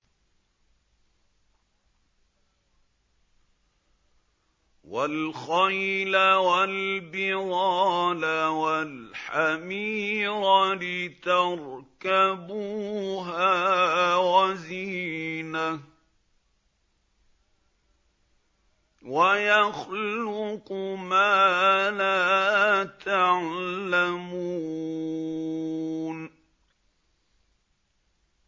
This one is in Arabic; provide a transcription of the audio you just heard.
وَالْخَيْلَ وَالْبِغَالَ وَالْحَمِيرَ لِتَرْكَبُوهَا وَزِينَةً ۚ وَيَخْلُقُ مَا لَا تَعْلَمُونَ